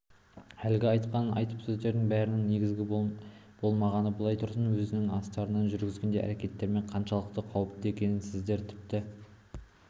әлгі айтқан айып сөздерінің бәрінің негізі болмағаны былай тұрсын өзінің астыртын жүргізген әрекеттерінің қаншалықты қауіпті екенін сіздер тіпті